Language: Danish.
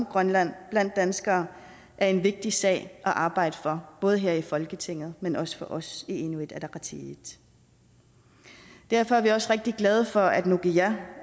grønland blandt danskere er en vigtig sag at arbejde for både her i folketinget men også for os i inuit ataqatigiit derfor er vi også rigtig glade for at nukiga